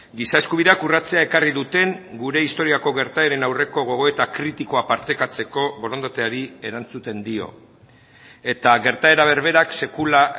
giza eskubideak urratzea ekarri duten gure historiako gertaeren aurreko gogoeta kritikoa partekatzeko borondateari erantzuten dio eta gertaera berberak sekula